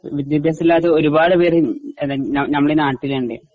വിദ്യാഭ്യാസമില്ലാത്ത ഒരുപാട് പേര് ഉം ഉം ഞമ്മടെ നാട്ടിലുണ്ട്.